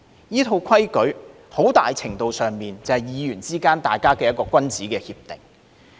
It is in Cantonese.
這套規矩很大程度上，就是議員之間的一項君子協定。